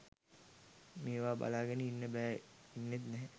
මේව බලාගෙන ඉන්න බැහැ .ඉන්නෙත් නැහැ.